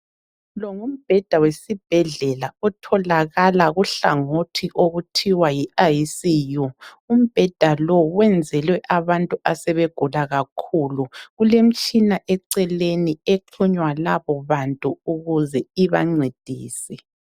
Longumbheda wesibhedlela otholakala kuhlangothi okuthiwa yi ICU. Umbheda lo, wenzelwe abantu asebegula kakhulu. Kulemitshina eceleni exhunywa labobantu ukuze ibancedise.